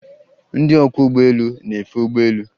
Ndị ọkwọ ụgbọelu na-efe ụgbọelu